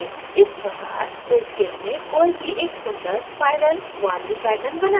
इस प्रकार inkscape में कोई भी एक सुन्दर spiral warli pattern बना सकता है